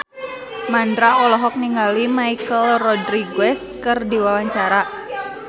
Mandra olohok ningali Michelle Rodriguez keur diwawancara